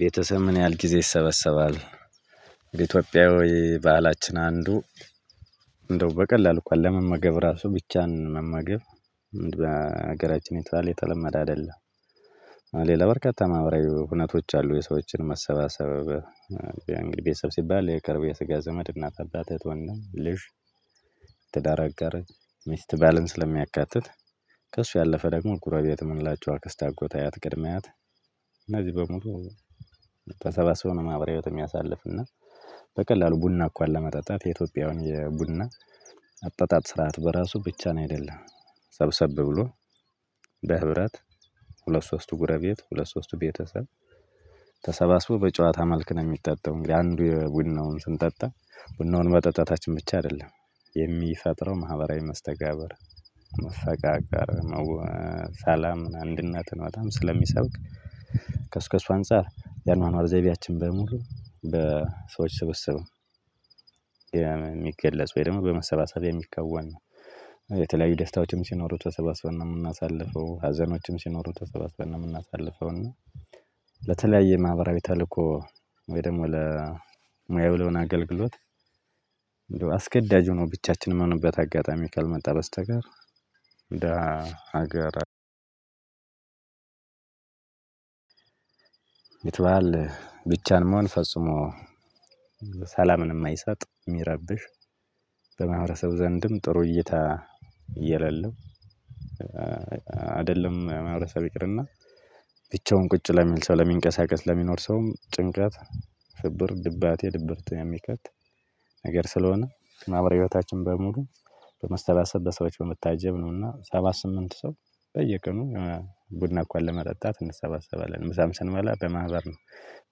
ቤተሰብ ምን ያክል ጊዜ ይሰበሰባል? የኢትዮጵያ ወይ በዓላችን አንዱ። እንደው በቀላሉ እንኳን ለመመገብ ራሱ ብቻን መመገብ? ምን በሀገራችን ባህል የተለመደ አይደለም። ሌላ በርካታ ማህበራዊ እውነቶች አሉ የሰዎችን መሰባሰብ። እንግዲህ ቤተሰብ ሲባል የቅርብ የስጋ ዘመድ እናት አባት እህት ወንድም። ትዳር አጋር ሚስት ባልን ስለሚያካትት። ከእሱ ያለፈ ደግሞ ጎረቤትም ሁላቸውም አክስት አጎት አያት ቅድመ አያት። እነዚህ በሙሉ ተሰባስበው ነው ማህበራዊ ህይወት የሚያሳልፍ እና። በቀላሉ ቡና እንኳን ለመጠጣት የኢትዮጵያውያን ቡና አጠጣጥ ስርዓት በራሱ ብቻን አይደለም። ሰብሰብ ብሎ። በህብረት ሁለት ሶስቱ ጉረቤት ሁለት ሶስቱ ቤተሰብ። ተሰባስቦ በጨዋታ መልክ ነው የሚጠጣው። እንግዲህ አንዱ ቡናውን ስንጠጣ ቡናውን መጠጣታችን ብቻ አይደለም። የሚፈጥረው ማህበራዊ መስተጋብር መፈቃቀር ስላም አንድነት በጣም ስለሚሰብክ። ከስከሱ አንፃር የኗኗር ዘይቤያችን በሙሉ በሰዎች ስብስብ። የሚገለጽ ወይ ደግሞ በመሰብሰብ የሚከወን ነው። የተለያዩ ደስታዎችም ሲኖሩ ተሰባስበው ነው የምናሳልፈው ሀዘኖችም ሲኖሩ ተሰባስበው ነው የምናሳልፈው። እና ለተለያየ ማህበራዊ ተልኮ ወይ ደግሞ ለሙያው ለሆነ አገልግሎት። አስገዳጅ ሆኖ ብቻችንም ምንሆንበት አጋጣሚ ካልመጣ በስተቀር። እንደ ሀገር። ብቻን መሆን ፈጽሞ ሰላምንም አይሰጥ የሚረብሽ። በማህበረሰብ ዘንድም ጥሩ እይታ የለለም። አይደለም ማህበረሰብ ይቅርና። ብቻውን ቁጭ ለሚል ሰው ለሚንቀሳቀስ ለሚኖር ሰውም ጭንቀት ፍብር ድባቴ ድብርት የሚከት። ነገር ስለሆነ ማህበራዊ ህይወታችን በሙሉ በመሰባሰብ በሰዎች በመታጀብ ነውና ሰባት ስምንት ሰው። በየቀኑ ቡና እንኳን ለመጠጣት እንሰባሰባለን ምሳም ስንበላ በማህበር ነው።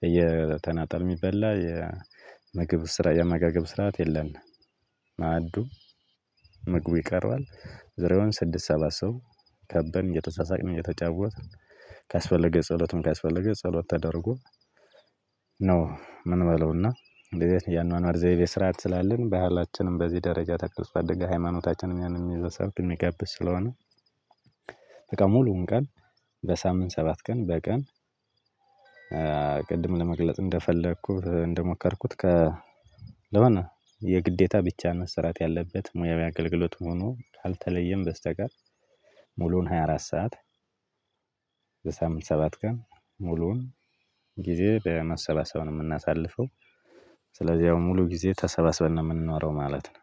በየተናጠል የሚበላ የምግብ ስርዓት የ አመጋገብ ስርዓት የለንም። ማዕዱ ምግቡ ይቀርባል ዙሪያውን ስድስት ሰባት ሰው ከበን እየተሳሳቅን እየተጫወትን። ካስፈለገ ጸሎትም ካስፈለገ ጸሎት ተደርጎ ነው የምንበላው። እና እንደዚህ የአኗኗር ዘይቤ ስርዓት ስላለን ባህላችንን በዚህ ደረጃ ተክለስ ባደገ ሃይማኖታችንን ያንን የሚያሳድግ የሚጋብዝ ስለሆነ። በቃ ሙሉውን ቀን በሳምንት ሰባት ቀን በቀን። ቅድም ለመግለጽ እንደፈለኩት እንደሞከርኩት ከ ለምን? የግዴታ ብቻ መሰራት ያለበት ሙያዊ አገልግሎት ሆኖ ካልተለየም በስተቀር። ሙሉውን ሃያ አራት ሰዓት። በሳምንት ሰባት ቀን ሙሉውን ጊዜ በመሰባሰብ ነው የምናሳልፈው። ስለዚህ ያው ሙሉ ጊዜ ተሰባስበን ነው የምንኖረው ማለት ነው።